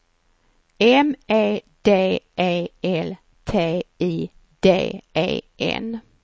M E D E L T I D E N